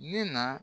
Ne na